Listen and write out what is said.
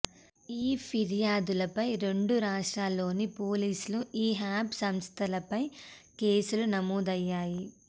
ఈ ఫిర్యాదులపై రెండు రాష్ట్రాల్లోని పోలీసులు ఈ యాప్ సంస్థలపై కేసులు నమోదయ్యాయి